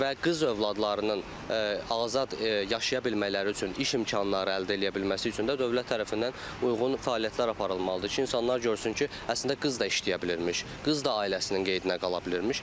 Və qız övladlarının azad yaşaya bilmələri üçün, iş imkanları əldə eləyə bilməsi üçün də dövlət tərəfindən uyğun fəaliyyətlər aparılmalıdır ki, insanlar görsün ki, əslində qız da işləyə bilirmiş, qız da ailəsinin qeydinə qala bilirmiş.